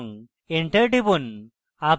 enter টিপুন